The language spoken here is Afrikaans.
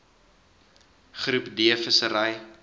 groep d vissery